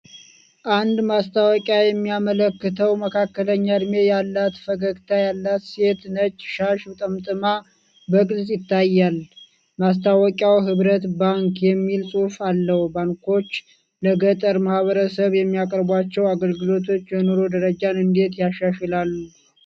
አንድ ማስታወቂያ የሚያመለክተው መካከለኛ እድሜ ያላት ፈገግታ ያላት ሴት ነጭ ሻሽ ጠምጥማ በግልፅ ይታያል። ማስታወቂያው 'ሕብረት ባንክ' የሚል ጽሑፍ አለው። ባንኮች ለገጠር ማህበረሰቦች የሚያቀርቧቸው አገልግሎቶች የኑሮ ደረጃን እንዴት ያሻሽላሉ?